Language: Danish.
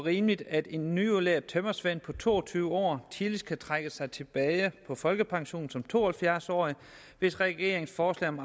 og rimeligt at en nyudlært tømrersvend på to og tyve år tidligst kan trække sig tilbage på folkepension som to og halvfjerds årig hvis regeringens forslag om